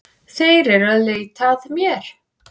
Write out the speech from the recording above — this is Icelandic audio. Þeir eru að leita að mér